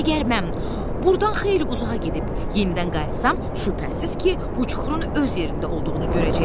Əgər mən buradan xeyli uzağa gedib yenidən qayıtsam, şübhəsiz ki, bu çuxurun öz yerində olduğunu görəcəyəm.